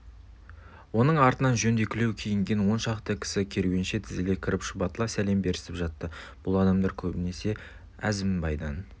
оның артынан жөндекілеу киінген он шақты кісі керуенше тізіле кіріп шұбатыла сәлем берісіп жатты бұл адамдар көбінше әзімбайдан